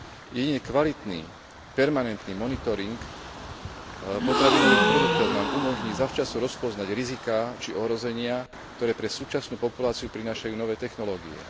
Jedine kvalitný permanentný monitoring potravinových produktov nám umožní zavčasu rozpoznať riziká či ohrozenia, ktoré pre súčasnú populáciu prinášajú nové technológie.